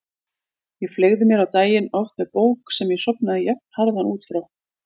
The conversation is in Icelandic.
Ég fleygði mér á daginn, oft með bók sem ég sofnaði jafnharðan út frá.